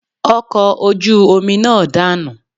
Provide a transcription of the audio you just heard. Ọkọ̀ ojú omi náà danu